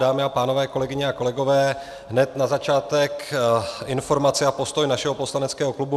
Dámy a pánové, kolegyně a kolegové, hned na začátek informaci a postoj našeho poslaneckého klubu.